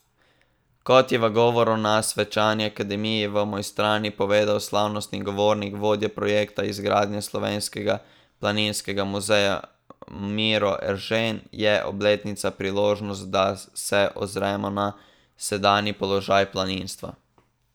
Kot je v govoru na svečani akademiji v Mojstrani povedal slavnostni govornik, vodja projekta izgradnje Slovenskega planinskega muzeja Miro Eržen, je obletnica priložnost, da se ozremo na sedanji položaj planinstva.